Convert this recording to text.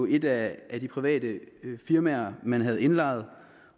et af de private firmaer man havde lejet